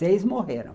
Seis morreram.